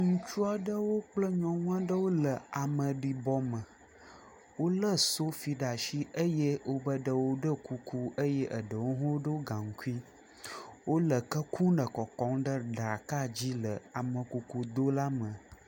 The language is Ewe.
Ŋutsu aɖewo kple nyɔnu aɖewo le ameɖibɔ me. Wolé sofi ɖe asi eye wobe ɖewo ɖɔ kuku eye eɖewo hã ɖɔ gaŋkui. Wole ke kum le kɔkɔm ɖe ɖaka dzi le amekuku do la me.